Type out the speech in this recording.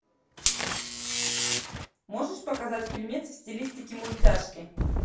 можешь показать фильмец в стилистике мультяшки